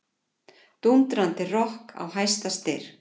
Dúndrandi rokk á hæsta styrk.